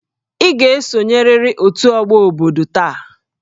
Ị ga-esonyerịrị otu ọgbọ obodo taa!